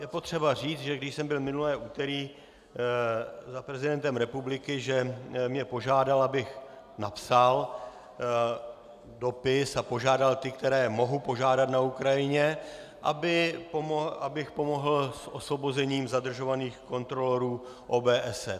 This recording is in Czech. Je potřeba říct, že když jsem byl minulé úterý za prezidentem republiky, že mě požádal, abych napsal dopis a požádal ty, které mohu požádat na Ukrajině, abych pomohl s osvobozením zadržovaných kontrolorů OBSE.